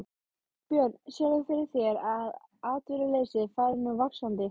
Björn: Sérðu fyrir þér að atvinnuleysi fari nú vaxandi?